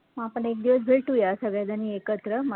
मग आपण एकदिवस भेटूया सगळे जणी एकत्र मस्त